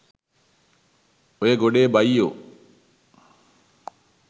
ඔය ගොඩේ බයියො